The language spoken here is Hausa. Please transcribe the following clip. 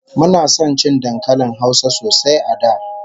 Muna son cin dankalin Hausa sosai a da